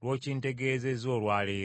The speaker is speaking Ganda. lw’okintegeezeezza olwa leero.”